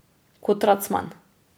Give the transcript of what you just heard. Kot racman.